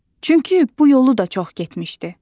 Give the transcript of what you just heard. Çünki bu yolu da çox getmişdi.